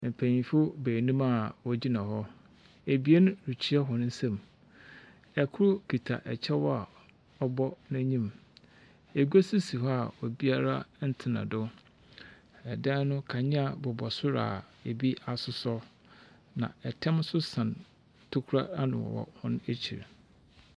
Mpanyinfo baanum a wogyina hɔ. Abien rekyia wɔn nsam. Ɛkoro kita ɛkyɛw a ɔbɔ n'anim. Egua so si hɔ a obiaa ntena do. Ɛdan no kanea bobɔ soro a ebi asosɔ. Na ɛtam so sɛn tokuro ano wɔ wɔn akyi.